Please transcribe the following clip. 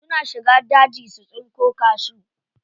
Suna shiga daji su tsinko cashew.